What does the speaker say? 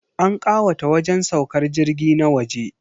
An kawata wajen saukar jirgi na waje.